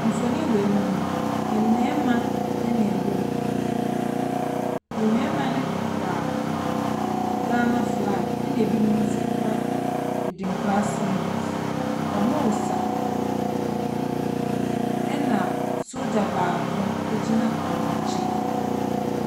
Mfonin wei mu no, mmarimaa na wɔwɔ mu. Mmarima no kura Ghana flag, ɛna binom nso kura adinkra symbols. Wɔresa, ɛna sogya baako gyina wɔn nkyɛn.